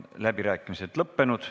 Läbirääkimised on lõppenud.